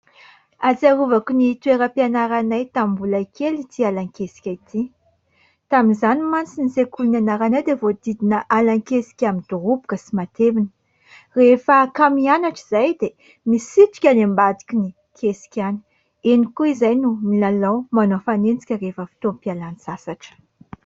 Ahatsiarovako ny toeram-pianaranay tamin'ny mbola kely ity alan-kesika ity. Tamin'izany mantsy ny sekoly nianaranay dia voahodidina alan-kesika midoroboka sy matevina. Rehefa kamo hianatra izahay dia misitrika any ambadiky ny kesika any. Eny koa izahay no milalao, manao fanenjika rehefa fotoam-pialantsasatra.